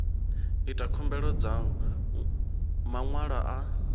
ita khumbelo dza maṅwalo a